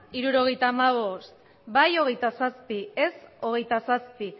hirurogeita hamabost bai hogeita zazpi ez hogeita zazpi